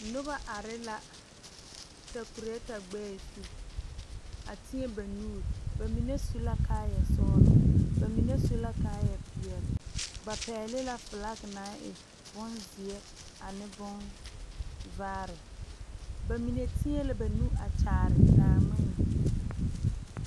Noba are la takulota gbɛɛ zu, a teɛ ba nuuri, bamine su la kaaya sɔglɔ bamine su la kaaya peɛle, ba pɛgle la fiilaaki naŋ e bonzeɛ ane bonvaare, bamine teɛ la banuuri a teɛ Naaŋmene